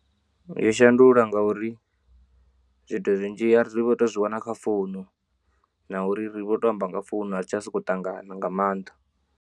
Yo shandula ngauri zwithu zwinzhi ri vho to zwi wana kha founu na uri ri vho to amba nga founu a ri tsha sokou ṱangana nga maanḓa.